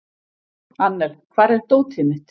Annel, hvar er dótið mitt?